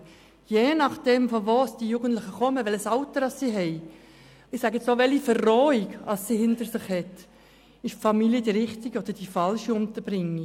Je nach dem woher die Jugendlichen stammen, welches Alter sie haben, und ich sage jetzt auch: welche Verrohung sie hinter sich haben, ist die Familie die richtige oder die falsche Unterbringung.